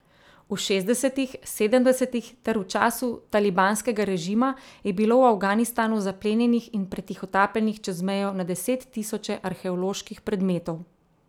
V šestdesetih, sedemdesetih ter v času talibanskega režima je bilo v Afganistanu zaplenjenih in pretihotapljenih čez mejo na deset tisoče arheoloških predmetov.